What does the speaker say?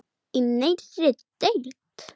Í nýrri deild.